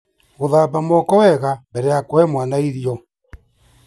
Gũthamba moko wega mbere ya kũhe mwana irio.